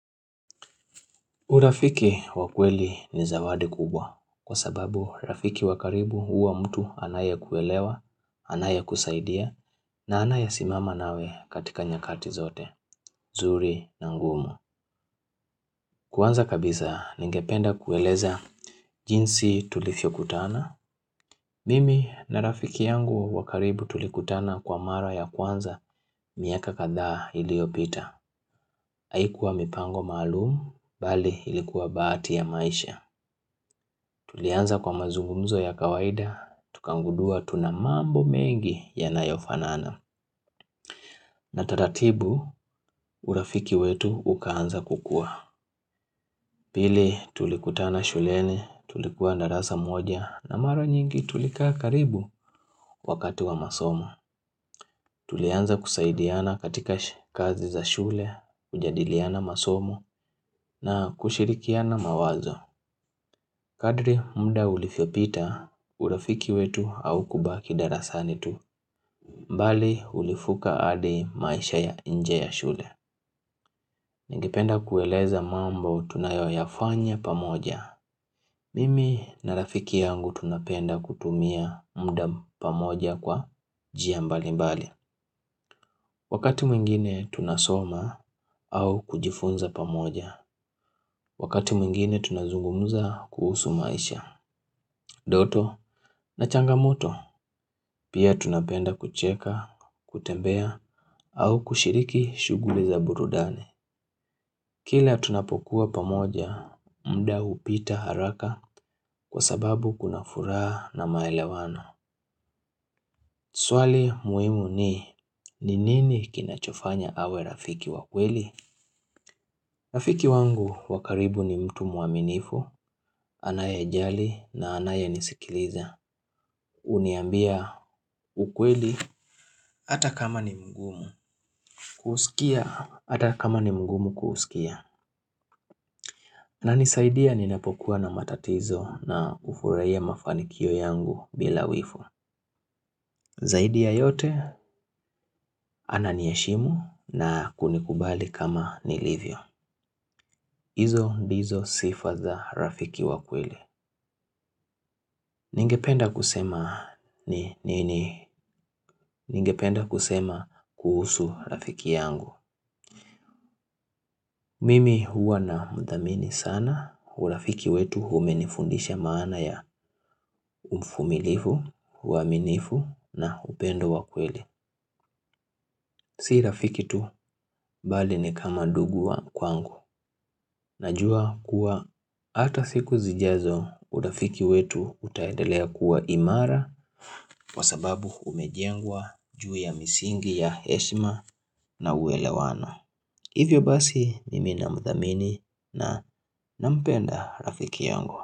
Urafiki wa kweli ni zawadi kubwa, kwa sababu rafiki wa karibu huwa mtu anayekuelewa, anayekusaidia, na anayesimama nawe katika nyakati zote, zuri na ngumu. Kwanza kabisa, ningependa kueleza jinsi tulivyo kutana. Mimi na rafiki yangu wa karibu tulikutana kwa mara ya kwanza miaka kadhaa iliyopita. Haikuwa mipango maalumu, bali ilikuwa bahati ya maisha. Tulianza kwa mazungumzo ya kawaida, tukagundua tuna mambo mengi yanayo fanana. Na taratibu, urafiki wetu ukaanza kukua. Pili, tulikutana shuleni, tulikuwa darasa moja, na mara nyingi tulikaa karibu wakati wa masomo. Tulianza kusaidiana katika kazi za shule, kujadiliana masomo, na kushirikiana mawazo. Kadri mda ulivyopita, urafiki wetu haukubaki darasani tu. Mbali ulivuka hadi maisha ya nje ya shule. Ningependa kueleza mambo tunayoyafanya pamoja. Mimi na rafiki yangu tunapenda kutumia mda pamoja kwa jia mbali mbali. Wakati mwingine tunasoma au kujifunza pamoja. Wakati mwingine tunazungumuza kuhusu maisha. Ndoto na changamoto pia tunapenda kucheka, kutembea au kushiriki shughuli za burudani. Kila tunapokuwa pamoja, mda hupita haraka kwa sababu kuna furaha na maelewano. Swali muhimu ni, nini kinachofanya awe rafiki wakweli? Rafiki wangu wa karibu ni mtu mwaminifu, anayejali na anayenisikiliza. Huniambia ukweli, ata kama ni mgumu kuusikia, ata kama ni mgumu kuusikia. Ananisaidia ninapokuwa na matatizo, na hufurahia mafanikio yangu bila wivu. Zaidi ya yote ananiheshimu na kunikubali kama nilivyo. Izo ndizo sifa za rafiki wa kweli. Ningependa kusema ni nini. Ningependa kusema kuhusu rafiki yangu. Mimi huwa na mdhamini sana. Urafiki wetu umenifundisha maana ya uvumilivu, uaminifu na upendo wa kweli. Si rafiki tu bali ni kama ndugu wa kwangu. Najua kuwa ata siku zijazo urafiki wetu utaendelea kuwa imara, kwasababu umejengwa juu ya misingi ya heshma na uelewano. Hivyo basi mimi namthamini na nampenda rafiki yangu.